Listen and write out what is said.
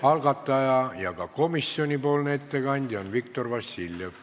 Algataja ja ka komisjoni nimel teeb ettekande Viktor Vassiljev.